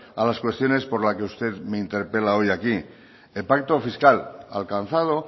a las cuestiones por la que usted me interpela hoy aquí el pacto fiscal alcanzado